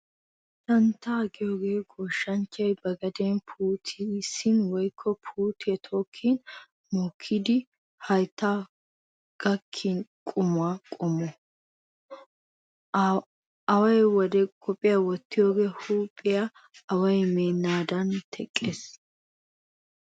Santtaa giyoogee goshshanchchay ba gaden puutissin woykko puutiyaa tokkin mokkidi hayttadaan gakkiyaa quma qommo. Awaa wode qophiyaa wottiyoogee huuphiyaa away meennaadan teqqees.